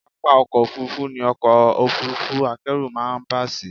Pápá ọkọ́ Òfurufú ni ọkọ̀ Òfurufú akẹ́rù máa ń bà sí.